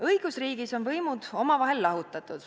Õigusriigis on võimud omavahel lahutatud.